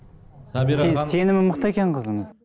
сабира сен сенімі мықты екен қызымыз